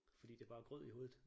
Fordi det bare er grød i hovedet